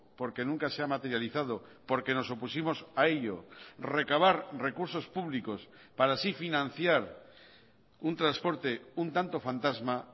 porque nunca se ha materializado porque nos opusimos a ello recabar recursos públicos para así financiar un transporte un tanto fantasma